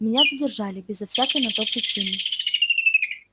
меня задержали безо всякой на то причины